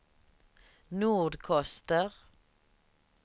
Nordkoster